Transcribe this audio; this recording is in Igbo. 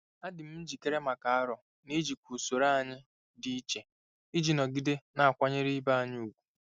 Adị m njikere maka aro n'ijikwa usoro anyị dị iche iji nọgide na-akwanyere ibe anyị ùgwù.